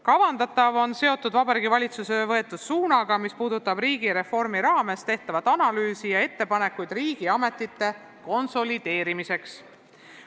Kavandatav on seotud Vabariigi Valitsuse võetud suunaga, mis puudutab riigireformi raames tehtud analüüsi ja ettepanekuid riigiametite konsolideerimiseks.